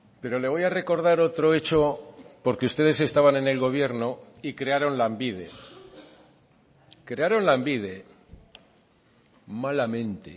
pero le voy a recordar otro hecho porque ustedes estaban en el gobierno y crearon lanbide crearon lanbide malamente